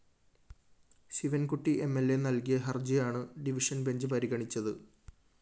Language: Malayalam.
ശിവന്‍കുട്ടി എം ൽ അ നല്‍കിയ ഹര്‍ജിയാണ് ഡിവിഷൻ ബെഞ്ച്‌ പരിഗണിച്ചത്